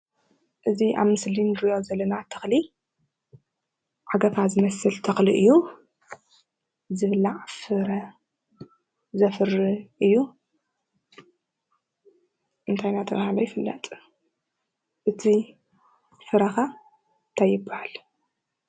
እዚ ኣብ ምስሊ ንሪኦ ዘለና ተኽሊ ዓገፋ ዝመስል ተኽሊ እዩ። ዝብላዕ ፍረ ዘፍሪ እዩ። እንታይ እናተብሃለ ይፍለጥ? እቲ ፍረ ከ ታይ ይበሃል ?